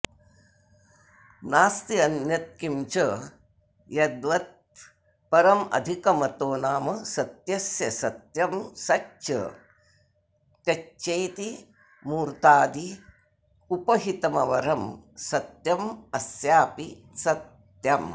नास्त्यन्यत्किंच यद्वत्परमधिकमतो नाम सत्यस्य सत्यं सच्च त्यच्चेति मूर्ताद्युपहितमवरं सत्यमस्यापि सत्यम्